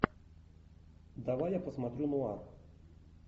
давай я посмотрю нуар